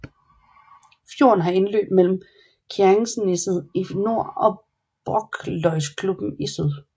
Fjorden har indløb mellem Kjerringneset i nord og Brokløysklubben i syd